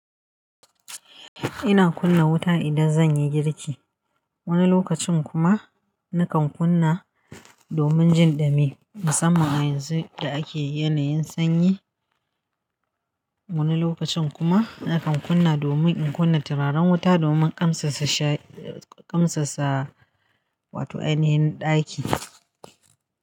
Ina kunna wuta idan zan yi girki. Wani lokacin kuma nakan kunna domin jin dumi, musamman a yanzu da ake yanayin sanyi. Wani lokacin kuma nakan kunna domin in kunna turaren wuta dominƙamsassa sha, ƙamsassa wato ainihin ɗaki.